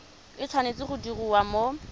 e tshwanetse go diriwa mo